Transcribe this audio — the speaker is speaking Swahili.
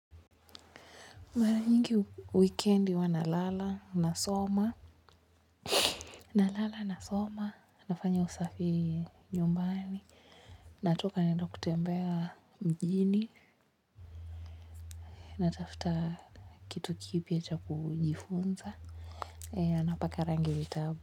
Mara nyingi wikendi huwa nalala nasoma, nalala nasoma, nafanya usafi nyumbani, natoka naenda kutembea mjini, natafuta kitu kipya cha kujifunza, napaka rangi vitabu.